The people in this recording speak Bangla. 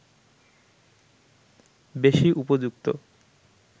বেশি উপযুক্ত